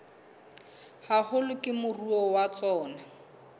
haholo ke moruo wa tsona